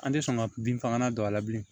An tɛ sɔn ka bin fagalan don a la bilen